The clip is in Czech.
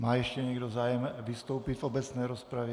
Má ještě někdo zájem vystoupit v obecné rozpravě?